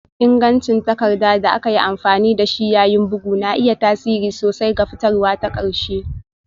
Ingancin takarda da aka yi amfani da shi yayin bugu na iya tasiri sosai ga fitarwa ta ƙarshe